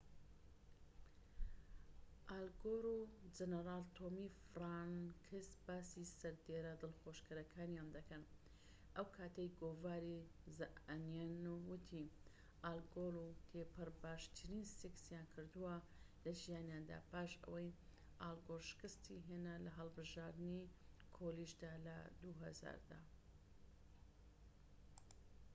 ئال گۆر و جەنەرال تۆمی فرانکس باسی سەردێڕە دڵخوازەکانیان دەکەن ئەوکاتەی گۆڤاری زە ئەنیەن وتی ئال گۆر و تیپەر باشترین سێکسیان کردووە لە ژیانیاندا پاش ئەوەی ئال گۆر شکستی هێنا لە هەڵبژاردنی کۆلیژدا لە ٢٠٠٠ دا